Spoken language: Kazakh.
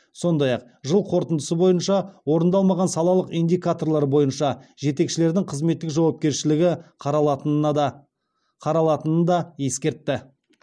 сондай ақ жыл қорытындысы бойынша орындалмаған салалық индикаторлар бойынша жетекшілердің қызметтік жауапкершілігі қаралатынын да ескертті